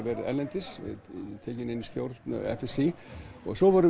verið erlendis var tekinn inn í stjórn FSÍ svo vorum